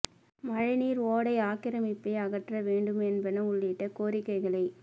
மழை நீர் ஓடை ஆக்கிரமிப்பை அகற்ற வேண்டும் என்பன உள்ளிட்ட கோரிக்கைகளை